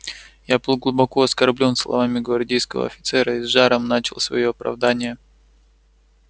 я был глубоко оскорблён словами гвардейского офицера и с жаром начал своё оправдание